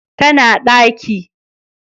Ta na daki